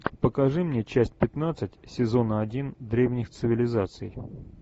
покажи мне часть пятнадцать сезона один древних цивилизаций